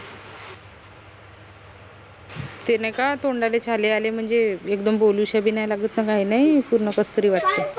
ते नाई का तोंडाले छाले आले म्हनजे एकदम बोलुश्या बी नाई लागत न काई नाई पूर्ण कसतरी वाटते